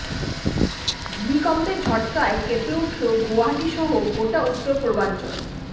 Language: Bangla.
ভূমিকম্পের ঝটকায় কেঁপে উঠল গুয়াহাটি সহ গোটা উত্তর পূর্বাঞ্চল